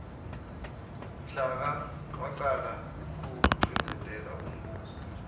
mhla ka wacala kucindzetelwa umbuso